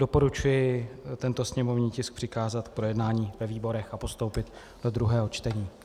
Doporučuji tento sněmovní tisk přikázat k projednání ve výborech a postoupit do druhého čtení.